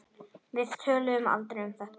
Við töluðum aldrei um þetta.